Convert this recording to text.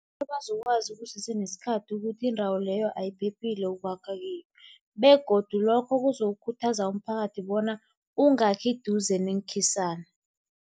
Ebazokwazi kusese nesikhathi ukuthi indawo leyo ayiphephile ukwakha kiyo begodu lokho kuzokukhuthaza umphakathi bona ungakhi eduze neenkhisana.